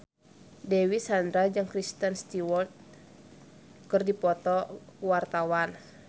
Dewi Sandra jeung Kristen Stewart keur dipoto ku wartawan